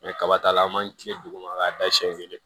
kaba ta la an b'an tilen duguma k'a da siɲɛ kelen